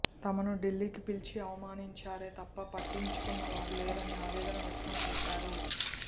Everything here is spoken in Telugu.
తమను ఢిల్లీకి పిలిచి అవమానించారే తప్ప పట్టించుకున్న వారు లేరని ఆవేదన వ్యక్తం చేశారు